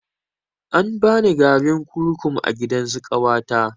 An bani garin kurkum a gidansu ƙawata